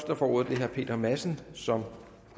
der får ordet er herre peter madsen som